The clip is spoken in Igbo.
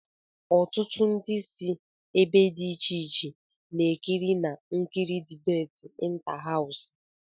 Ọtụtụ ndị si ebe dị iche iche na-ekirina-ekiri dibéti ịntáháws